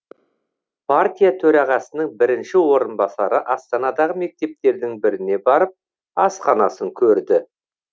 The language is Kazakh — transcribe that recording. партия төрағасының бірінші орынбасары астанадағы мектептердің біріне барып асханасын көрді